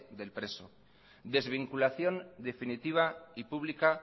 del preso desvinculación definitiva y pública